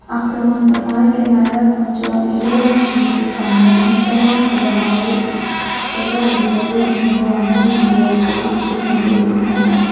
அப்பறமா அந்த பாறைக்கு மேல கொஞ்சோ எழுதவும் செஞ்சுருக்காங்க எங்கெல்லாம் ஜெபமாலை சொல்லப்படுகிறதோ அங்கே அமைதி நிலை அப்படினு சொல்லி நெறைய எழுதிருகாங்க.